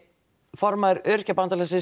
formaður Öryrkjabandalagsins